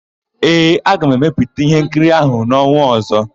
Ee, aga m emepụta íhénkiri áhụ̀ n'ọnwa ọ̀zọ́.